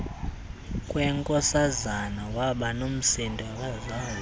kwenkosazana wabanomsindo akazazi